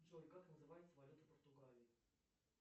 джой как называется валюта португалии